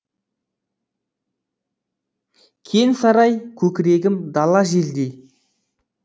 кең сарай көкірегім дала желдей